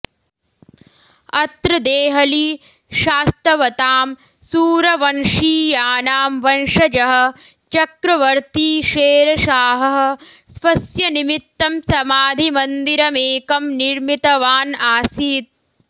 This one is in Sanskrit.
अत्र देहलीं शास्तवताम् सूरवंशीयानां वंशजः चक्रवर्ती शेरषाहः स्वस्य निमित्तं समाधिमन्दिरमेकं निर्मितवान् आसीत्